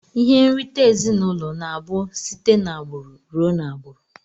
Ihe nrite ezinụlọ na abu site na agburu rụọ na agburu.